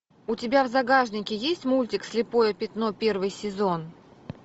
у тебя в загашнике есть мультик слепое пятно первый сезон